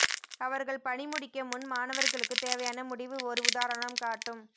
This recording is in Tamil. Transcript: அவர்கள் பணி முடிக்க முன் மாணவர்களுக்கு தேவையான முடிவு ஒரு உதாரணம் காட்டும்